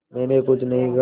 मैंने कुछ नहीं कहा